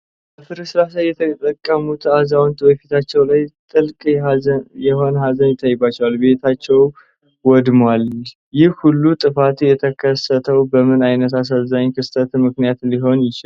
በፍርስራሽ ላይ የተቀመጡት አዛውንት በፊታቸው ላይ ጥልቅ የሆነ ሐዘን ይታይባቸዋል፤ ቤታቸው ወድሟል? ይህ ሁሉ ጥፋት የተከሰተው በምን ዓይነት አሳዛኝ ክስተት ምክንያት ሊሆን ይችላል?